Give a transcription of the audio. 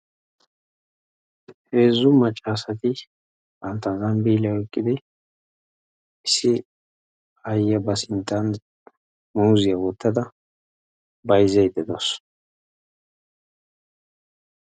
Heezzu macca asati bantaagaa zambiiliya oyqqidi issi aayiya ba sinttan muuzzziya oyqqada bayzzaydda dawusu.